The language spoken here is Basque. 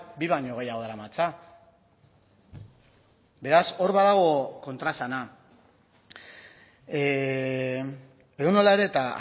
bi baino gehiago daramatza beraz hor badago kontraesana edonola ere eta